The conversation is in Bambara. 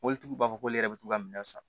Mɔbilitigiw b'a fɔ k'ale yɛrɛ bɛ t'u ka minɛn san